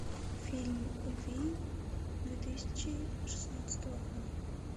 фильм вий две тысячи шестнадцатого года